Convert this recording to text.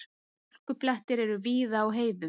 Hálkublettir eru víða á heiðum